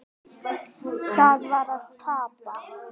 Það var að tapa.